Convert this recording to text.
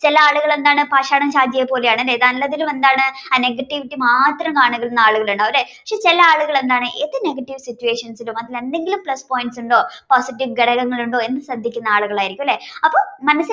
ചിലയാളുകൾ പാഷാണം ഷാജിയെ പോലെയാണ് അല്ലെനല്ലതിലും എന്താണ് ആഹ് negativity മാത്രം കാണുന്ന ആളുകൾ ഉണ്ടാവും ലെ ചിലയാളുകൾ എന്താണ് ഏത് negative situations ലും അതിൽ എന്തെങ്കിലും plus points ഉണ്ടോ positive ഘടകങ്ങൾ ഉണ്ടോ എന്ന് ശ്രദ്ദിക്കുന്ന ആളുകളായിരിക്കും അല്ല അപ്പൊ മനസ്സിൽ